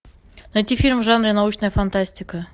найти фильм в жанре научная фантастика